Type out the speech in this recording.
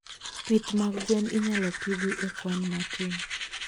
Pith mag gwen inyalo pidhi e kwan matin.